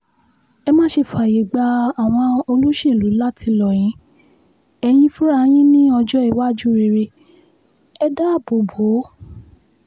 ẹ má ṣe fààyè gba àwọn olóṣèlú láti lọ yin ẹ̀yin fúnra yín ní ọjọ́-iwájú rere ẹ̀ dáàbò bò ó